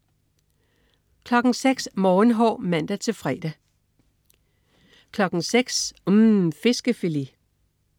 06.00 Morgenhår (man-fre) 06.00 UMM. Fiskefilet